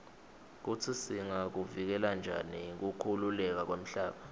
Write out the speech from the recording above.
kutsi singakuvikela njani kukhukhuleka kwemhlaba